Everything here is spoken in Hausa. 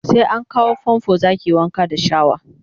sai an kawo fanfo zakayi Wanka da shawa